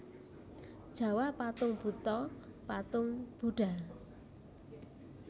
Jawa Patung Buto patung Budha